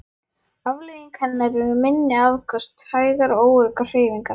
Afleiðing hennar eru minni afköst, hægar og óöruggar hreyfingar.